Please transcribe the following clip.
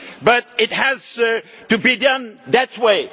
problems. But it has to be done